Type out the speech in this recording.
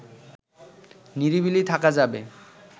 নিরিবিলি থাকা যাবে